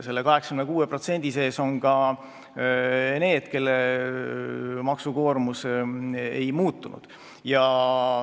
Selle 86% sees on ka need, kelle maksukoormus ei muutunud.